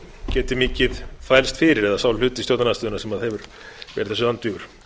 geti mikið þvælst fyrir eða sá hluti stjórnarandstöðunnar sem hefur verið þessu andvígur